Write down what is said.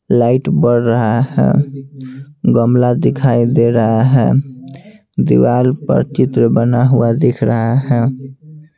Light बढ़ रहा है गमला दिखाई दे रहा है दीवार पर चित्र बना हुआ दिख रहा है।